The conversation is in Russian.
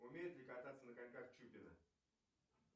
умеет ли кататься на коньках чупина